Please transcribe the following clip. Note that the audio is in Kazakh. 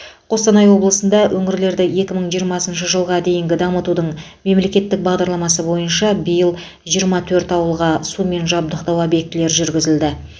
қостанай облысында өңірлерді екі мың жиырмасыншы жылға дейінгі дамытудың мемлекеттік бағдарламасы бойынша биыл жиырма төрт ауылға сумен жабдықтау обьектілері жүргізілді